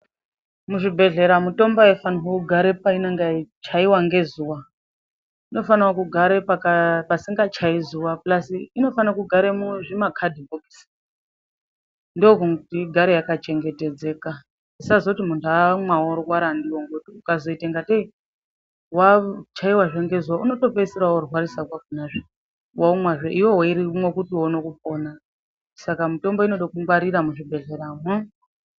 Muzvibhelhera mitombo haifanire kugare painonga yei chaiwe ngezuwa, inofanire kugara pasingachayi zuwa pulasi inofanire kugare mumakhadhi kisi ndokuti igare yaka chengetedzeka isazoti munhu amwa worwara ndiyo ngooti zvikazoita kunga tei wachaiwa zve ngezuwa inotopedzisira worwarazve kwakonazve womwazve iwewe weimwe kuti uone kupona, saka mitombo inode kungwarira muzvibhehkera mwo.